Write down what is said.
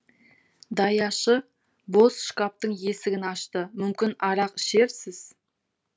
даяшы бос шкаптың есігін ашты мүмкін арақ ішерсіз